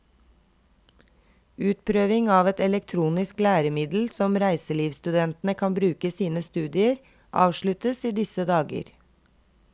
Utprøving av et elektronisk læremiddel som reiselivsstudentene kan bruke i sine studier, avsluttes i disse dager.